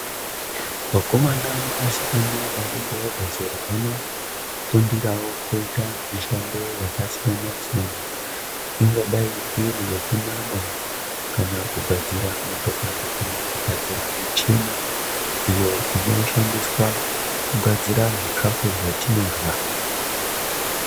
Vakomana nevasikana vanenge vabva zera vanofundirawo kuita mishando yakasiyana-siyana ungadai iri yekumwa kana kugadzira motokari kana kugadzira michini iyo inoshandiswa kugadzira zvikafu zvatinorya.